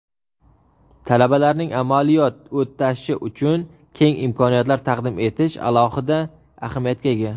talabalarning amaliyot o‘tashi uchun keng imkoniyatlar taqdim etish alohida ahamiyatga ega.